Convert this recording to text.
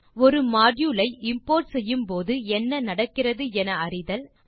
ஒரு மாடியூல் ஐ இம்போர்ட் செய்யும் போது என்ன நடக்கிறது என அறிதல் 2